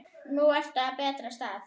Núna ertu á betri stað.